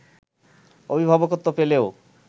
অভিভাবকত্ব পেলেও